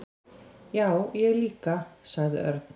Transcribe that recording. """Já, ég líka sagði Örn."""